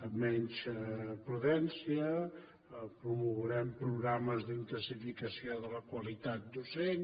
amb menys prudència promourem programes d’intensificació de la qualitat docent